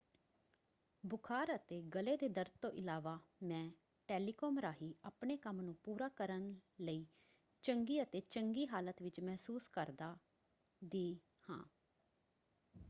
"ਬੁਖਾਰ ਅਤੇ ਗਲੇ ਦੇ ਦਰਦ ਤੋਂ ਇਲਾਵਾ ਮੈਂ ਟੈਲੀਕਾਮ ਰਾਹੀਂ ਆਪਣੇ ਕੰਮ ਨੂੰ ਪੂਰਾ ਕਰਨ ਲਈ ਚੰਗੀ ਅਤੇ ਚੰਗੀ ਹਾਲਤ ਵਿੱਚ ਮਹਿਸੂਸ ਕਰਦਾ/ਦੀ ਹਾਂ।